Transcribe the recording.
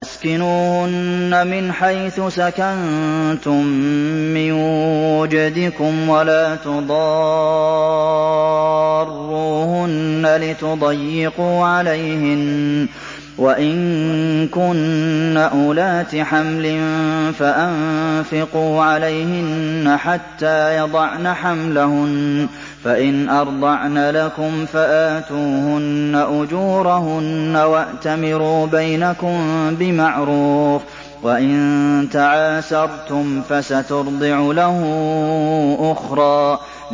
أَسْكِنُوهُنَّ مِنْ حَيْثُ سَكَنتُم مِّن وُجْدِكُمْ وَلَا تُضَارُّوهُنَّ لِتُضَيِّقُوا عَلَيْهِنَّ ۚ وَإِن كُنَّ أُولَاتِ حَمْلٍ فَأَنفِقُوا عَلَيْهِنَّ حَتَّىٰ يَضَعْنَ حَمْلَهُنَّ ۚ فَإِنْ أَرْضَعْنَ لَكُمْ فَآتُوهُنَّ أُجُورَهُنَّ ۖ وَأْتَمِرُوا بَيْنَكُم بِمَعْرُوفٍ ۖ وَإِن تَعَاسَرْتُمْ فَسَتُرْضِعُ لَهُ أُخْرَىٰ